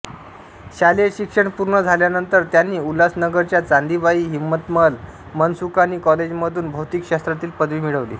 शालेय शिक्षण पूर्ण झाल्यानंतर त्यांनी उल्हासनगरच्या चांदीबाई हिम्मतमल मनसुखानी कॉलेजमधून भौतिकशास्त्रातील पदवी मिळवली